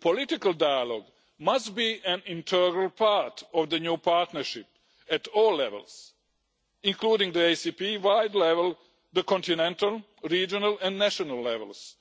Political dialogue must be an integral part of the new partnership at all levels, including the ACP wide level, the continental, regional and national levels,